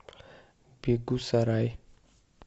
бегусарай